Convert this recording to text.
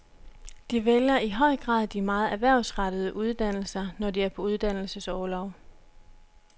De vælger i høj grad de meget erhvervsrettede uddannelser, når de er på uddannelsesorlov.